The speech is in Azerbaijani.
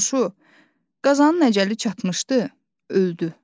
Qonşu, qazanın əcəli çatmışdı, öldü.